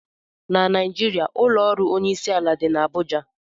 Na Naijiria ụlọ ọrụ onyeisiala dị n'Abụja